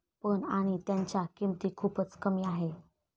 पण, आणि त्यांच्या किंमती खूपच कमी आहे.